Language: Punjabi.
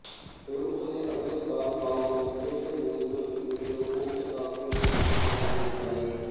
ਫਿਰ ਉਸਨੇ ਅਗਲੇ ਚਾਰ ਸਾਲ ਮੈਨਚੇਸਟਰ ਯੂਨੀਵਰਸਿਟੀ ਵਿੱਚ ਪੋਸਟਡਾਕਟਰੇਲ ਕੰਮ ਕਰਦਿਆਂ ਬਿਤਾਏ